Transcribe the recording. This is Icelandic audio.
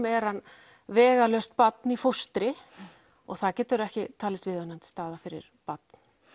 er hann vegalaust barn í fóstri og það getur ekki talist viðunandi staða fyrir barn